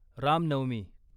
Ram Navami